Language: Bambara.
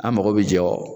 An mago bɛ jɔ